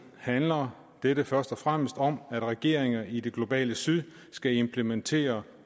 handler dette først og fremmest om at regeringer i det globale syd skal implementere